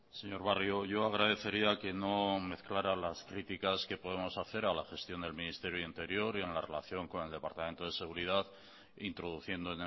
señor barrio yo agradecería que no mezclara las críticas que podemos hacer a la gestión del ministerio de interior y en la relación con el departamento de seguridad introduciendo